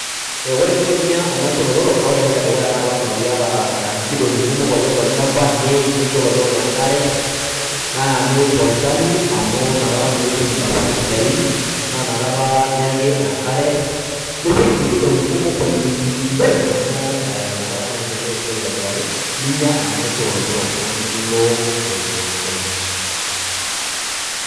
ee ore eninko pinya enaisho olotorok naa ore entoki edukuya naa lazima piata nkidong'i kumok oleng' tolchamba, niik, nicho ilotorok enkare, naa niik tolchani amu ina kata naa etum intapuka sidain , naa inakata niyaki enkare, nipik nkidong'i kumok oleng' amu ina kata naa endelea esiai aitobiraki .niya enaisho olotorok namelok oleng' .